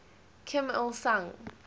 kim il sung